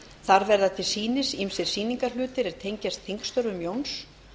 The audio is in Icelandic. þar verða til sýnis ýmsir sýningarhlutir er tengjast þingstörfum jóns